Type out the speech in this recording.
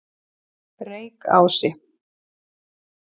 Reykási